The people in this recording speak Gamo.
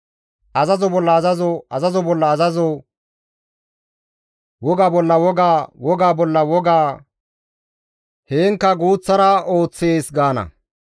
Azazo bolla azazo, azazo bolla azazo woga bolla woga, wogaa bolla woga, haankka guuththara, heenkka guuththara ooththees» gaana.